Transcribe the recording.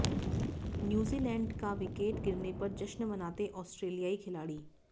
New Zealand का wicket गिरने पर जश्न मनाते ऑस्ट्रेलियाई खिलाड़ी